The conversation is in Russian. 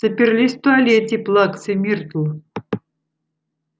заперлись в туалете плаксы миртл